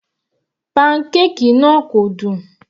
Pancake náà kò dùn.